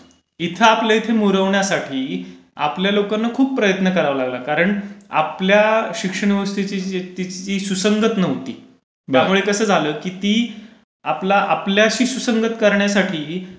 इथे आपल्या इथे मुरवण्यासाठी आपल्या लोकांना खूप प्रयत्न करावे लागले. कारण आपल्या शिक्षण व्यवस्थेशी ती सुसंगत नव्हती. त्यामुळे कसं झालं की ती आपला आपल्याशी सुसंगत करण्यासाठी